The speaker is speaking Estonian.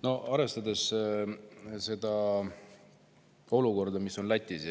No arvestades seda olukorda, mis on Lätis,